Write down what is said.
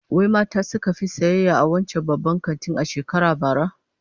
Wai mata suka fi sayayya a wancan babban kantin a shekarar bara?